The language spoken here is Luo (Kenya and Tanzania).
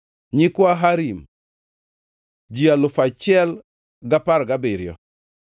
nyikwa Harim, ji alufu achiel gi apar gabiriyo (1,017).